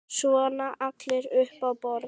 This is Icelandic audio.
Svona allir upp á borð